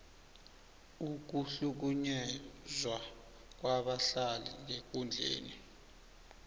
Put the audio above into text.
ukuhlukunyezwa kwabadlali ngekundleni